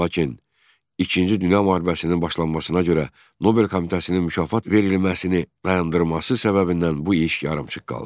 Lakin İkinci Dünya müharibəsinin başlanmasına görə Nobel komitəsinin mükafat verilməsini dayandırması səbəbindən bu iş yarımçıq qaldı.